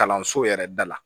Kalanso yɛrɛ da la